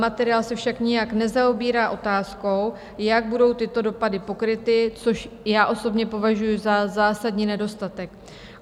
Materiál se však nijak nezaobírá otázkou, jak budou tyto dopady pokryty, což já osobně považuji za zásadní nedostatek.